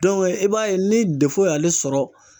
i b'a ye ni y'ale sɔrɔ